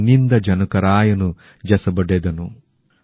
পেণ্ণিন্দা জনকরায়নু জসবডেদনূ